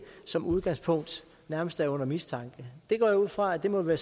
som udgangspunkt nærmest er under mistanke jeg går ud fra at det må være